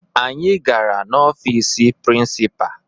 Anyị gara n'ọfiisi prịnsịpaa